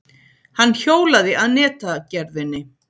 Hann hjólaði að netagerðinni.